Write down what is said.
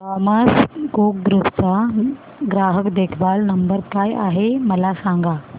Thomas Cook group चा ग्राहक देखभाल नंबर काय आहे मला सांगा